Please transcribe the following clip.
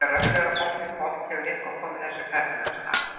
Þegar öllu er á botninn hvolft hefur eitthvað komið þessu ferli af stað.